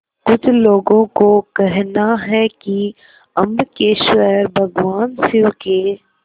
कुछ लोगों को कहना है कि अम्बकेश्वर भगवान शिव के